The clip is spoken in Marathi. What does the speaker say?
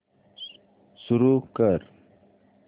सुरू कर